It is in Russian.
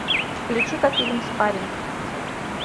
включи ка фильм спарринг